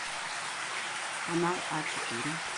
канал а четыре